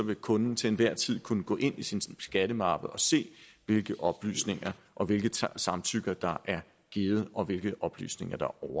vil kunden til enhver tid kunne gå ind i sin skattemappe og se hvilke oplysninger og hvilke samtykker der er givet og hvilke oplysninger der